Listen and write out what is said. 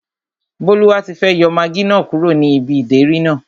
Bólúwatifẹ́ yọ magí náà kúrò ní ibi ìdérí náà